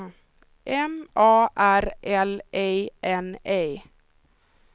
M A R L E N E